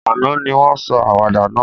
Àná ni won sọ àwàdà náà